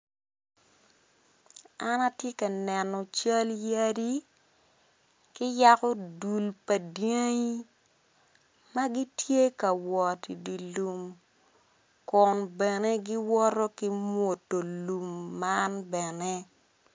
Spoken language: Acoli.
An atye ka neno cal yadi ki yako dul pa dyangi ma gitye ka wot i dye lum kun bene giwoto ki mwodo lum man bene.